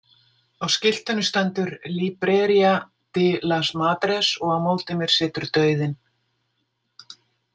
Á skiltinu stendur Libreria de las Madres og á móti mér situr dauðinn.